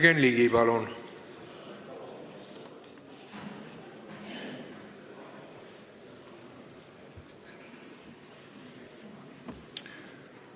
Jürgen Ligi, palun!